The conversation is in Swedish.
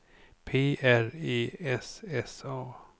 P R E S S A